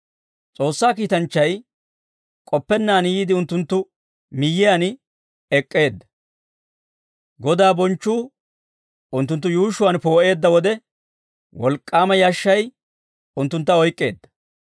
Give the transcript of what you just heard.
S'oossaa kiitanchchay k'oppennaan yiide unttunttu miyyiyaan ek'k'eedda; Godaa bonchchuu unttunttu yuushshuwaan poo'eedda wode, wolk'k'aama yashshay unttuntta oyk'k'eedda.